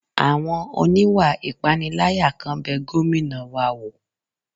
Àwọn oníwà ìpániláyà kan bẹ Gómìnà wa wò